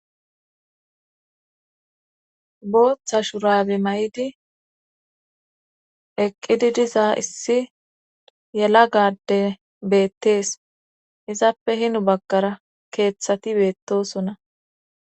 booththa shurabi may7idi eqqidi diza issi yela gadde beettees izappe hinu baggara keeththati beettosonna